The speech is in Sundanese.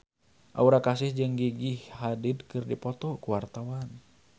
Aura Kasih jeung Gigi Hadid keur dipoto ku wartawan